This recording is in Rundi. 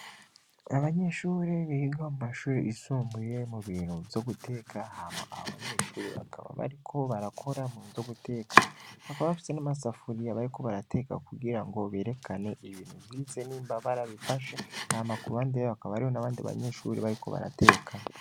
Abanyeshure biga mumashure y'isumbuye mubintu vyo guteka Hama abo banyeshure bakaba barakora mubintu vyo guteka bakaba bafise namasafuriya bariko barateka kugirango berekane ivyo Nike ko boba barabifashe kururuhande Haka hariho n'abandi banyeshure bariko barateka